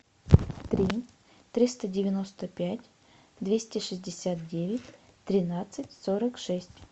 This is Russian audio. три триста девяносто пять двести шестьдесят девять тринадцать сорок шесть